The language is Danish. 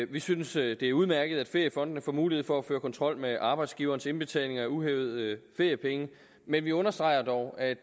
vi synes det er udmærket at feriefondene får mulighed for at føre kontrol med arbejdsgivernes indbetaling af uhævede feriepenge men vi understreger dog at